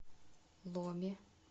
ломе